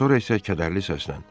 Sonra isə kədərli səslə: